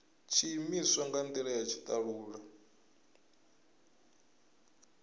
tshiimiswa nga ndila ya tshitalula